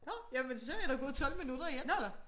Nåh jamen så er der gået 12 minutter